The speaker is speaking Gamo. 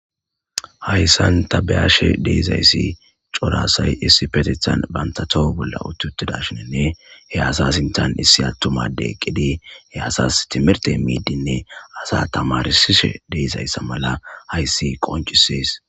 hayssan tabeyaashe deezayssi corasay issi petethan bantatoho bolla uttuttidashininne he asasintan issi attumade eqqidi he asas timirte miidinne asa tamarsishe deezayssa mala hayssi qoncisees